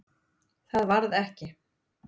Það varð ekki.